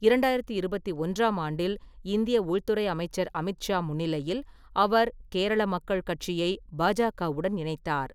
இரண்டாயிரத்தி இருபத்தி ஒன்றாம் ஆண்டில் இந்திய உள்துறை அமைச்சர் அமித் ஷா முன்னிலையில் அவர் கேரள மக்கள் கட்சியை பாஜகவுடன் இணைத்தார்.